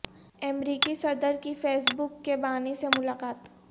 امریکی صدر کی فیس بک کے بانی سے ملاقات